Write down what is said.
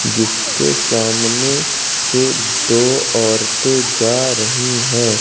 जिसके सामने से दो औरतें जा रही हैं।